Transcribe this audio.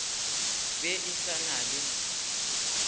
be e se na le